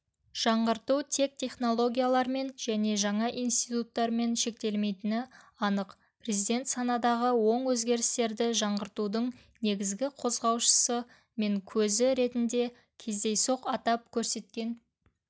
жаңғырту тек технологиялармен және жаңа институттармен шектелмейтіні анық президент санадағы оң өзгерістерді жаңғыртудың негізгі қозғаушысы мен көзі ретінде кездейсоқ атап көрсеткен